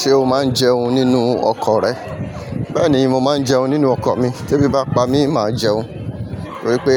Ṣé o máa ń jẹun nínú ọkọ̀ rẹ? Bẹ́ẹ̀ni, mo máa ń jẹun nínú ọkọ̀ mi. Tebí bá n pa mí máa jẹun, wípé